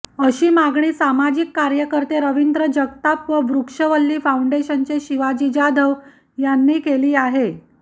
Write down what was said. अशी मागणी सामाजिक कार्यकर्ते रविंद्र जगताप व वृक्षवल्ली फाउंडेशनचे शिवाजी जाधव यांनी केली आहे